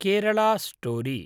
Kerala story